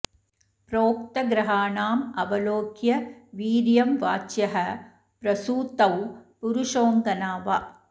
प्रोक्त ग्रहाणाम् अवलोक्य वीर्यं वाच्यः प्रसूतौ पुरुषोऽङ्गना वा